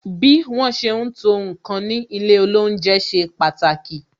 Bí wọn ṣe ń to ǹkan ní ilé olounje ṣe pàtàkì